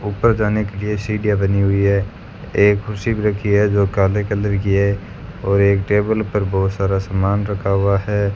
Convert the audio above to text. ऊपर जाने के लिए सीढ़ियां बनी हुईं हैं एक कुर्सी भी राखी है जो काले कलर की है और एक टेबल पर बहुत सारा सामान रखा हुआ है।